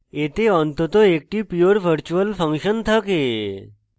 এতে অন্তত একটি pure virtual function থাকে